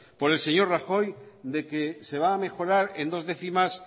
por el señor rajoy de que se va a mejorar en dos décimas